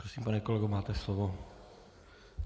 Prosím, pane kolego, máte slovo.